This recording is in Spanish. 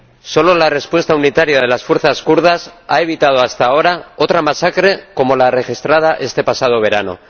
Solo la respuesta unitaria de las fuerzas kurdas ha evitado hasta ahora otra masacre como la registrada este pasado verano.